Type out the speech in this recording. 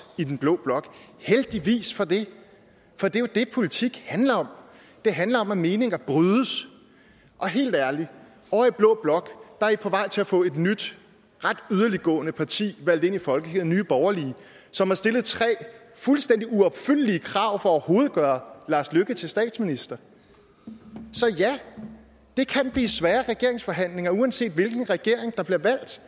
i blå blok og heldigvis for det for det er jo det politik handler om det handler om at meninger brydes og helt ærligt ovre i blå blok er i på vej til at få et nyt ret yderliggående parti valgt ind i folketinget nemlig nye borgerlige som har stillet tre fuldstændig uopfyldelige krav for overhovedet at gøre lars løkke rasmussen til statsminister så ja det kan blive svære regeringsforhandlinger uanset hvilken regering der bliver valgt